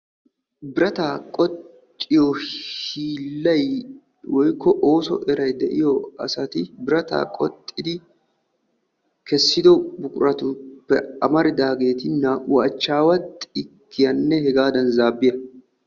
Birata qoxxiyo hiilay woykko ooso eray de'iyo asati, birata qoxxidi kessido buquratuppe amaridaageeti naa"u achchawa xikkiyaanne hegaddana zaabbiya.